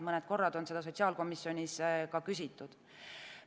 Mõned korrad on seda sotsiaalkomisjonis ka küsitud.